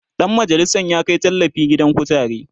Dan majalisan ya Kai tallafi gidan kutare